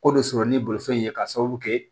Ko dɔ sɔrɔ ni bolifɛn ye ka sababu kɛ